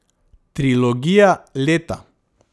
Trilogija leta.